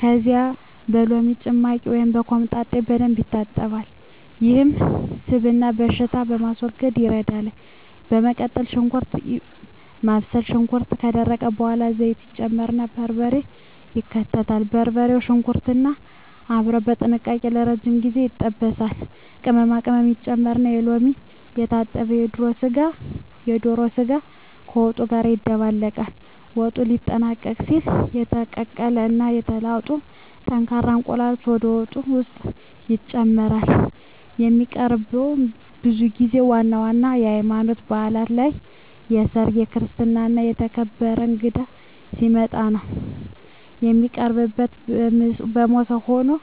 ከዚያም በሎሚ ጭማቂ ወይም በኮምጣጤ በደንብ ይታጠባል፤ ይህም ስብንና ሽታን ለማስወገድ ይረዳል። በመቀጠል ሽንኩርት ማብሰል፣ ሽንኩርቱ ከደረቀ በኋላ ዘይት ይጨመርና በርበሬ ይከተላል። በርበሬውና ሽንኩርቱ አብረው በጥንቃቄ ለረጅም ጊዜ ይጠበሳሉ። ቅመማ ቅመም መጨመር፣ በሎሚ የታጠበው የዶሮ ስጋ ከወጡ ጋር ይደባለቃል። ወጡ ሊጠናቀቅ ሲል የተቀቀሉ እና የተላጡ ጠንካራ እንቁላሎች ወደ ወጡ ውስጥ ይጨመራሉ። የሚቀርበውም ብዙ ጊዜ ዋና ዋና የሀይማኖታዊ ባእላት ላይ፣ በሰርግ፣ በክርስትና እና የተከበረ እንግዳ ሲመጣ ነው። የሚቀርበውም በሞሰብ ሆኖ ሁልጊዜ የሚቀርበው ከእንጀራ ጋር ነው።